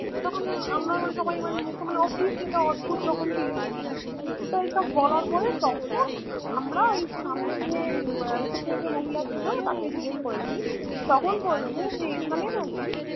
তখন আমরা মানে সবাই মানে ও কি সেটা অদ্ভুত রকম Feeling এসেছে তো এইসব বলার পর তখন আমরা ওই সামনে গিয়ে যে মহিলা ছিল তাকে জিজ্ঞেস করেছি তখন বলছে যে এখানে নাকি